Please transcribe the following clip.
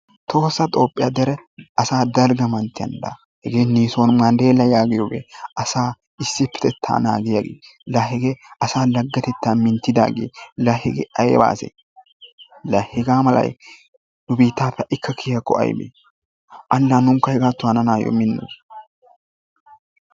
Tohossa Toophphiya dere dalgga manttiyan laa hegee issoy Niison Manddeella yaagiyogee, asaa issippetettaa naagiyagee, laa hegee asaa danttatettaa minttidaagee, laa hegee ayba asee? Laa hegaa malay nu biittaappe haykka kiyiyakko aybee? Ane la nunkka hegaatton hananaayyo minnoos.